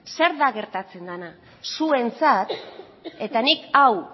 zer da gertatzen dena zuentzat eta nik hau